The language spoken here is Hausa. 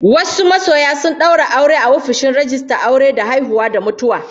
Wasu masoya sun daura aure a ofishin rijistan aure da haihuwa da mutuwa